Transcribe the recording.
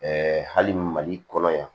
hali mali kɔnɔ yan